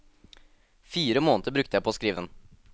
Fire måneder brukte jeg på å skrive den.